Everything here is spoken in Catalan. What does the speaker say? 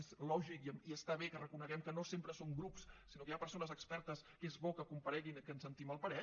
és lògic i està bé que reconeguem que no sempre som grups sinó que hi ha persones expertes que és bo que compareguin i que en sentim el parer